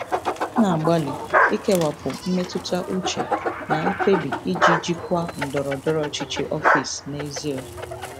M na-agbalị ikewapụ mmetụta uche na mkpebi iji jikwaa ndọrọ ndọrọ ọchịchị ọfịs n'ezie